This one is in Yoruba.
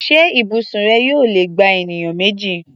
Ṣé ibùsùn rẹ yóò lè gba ènìyàn méjì?